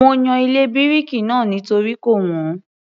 Mo yan ilé bíríkì náà nítorí kò wọ́n